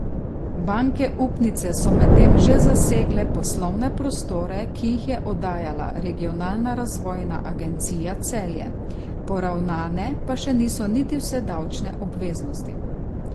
Banke upnice so medtem že zasegle poslovne prostore, ki jih je oddajala Regionalna razvojna agencija Celje, poravnane pa še niso niti vse davčne obveznosti.